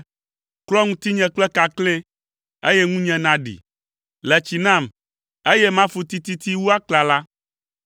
Klɔ ŋutinye kple kakle, eye ŋunye aɖi; le tsi nam, eye mafu tititi wu aklala.